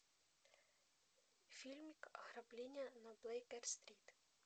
фильмик ограбление на бейкер стрит